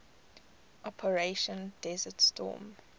operation desert storm